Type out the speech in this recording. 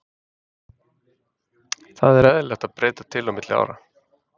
Það er eðlilegt að breyta til á milli ára.